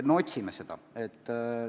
Me otsime neid võimalusi.